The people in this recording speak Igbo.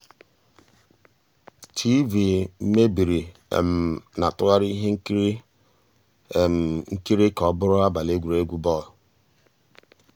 tv meébìrí ná-àtụ́ghàrị́ íhé nkírí nkírí ká ọ́ bụ́rụ́ àbàlí égwurégwu bọ́ọ̀lụ́.